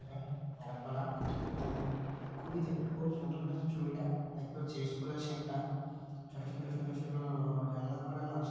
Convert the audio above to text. অনেক গাছপালা ইত্যাদি খুবই দেখ খুব সুন্দর লাগছে ছবিটা দেখতে পাচ্ছি স্কুল আছে একটা ছোট ছোট ছোট ছোট-ও জানলা করানো আছে।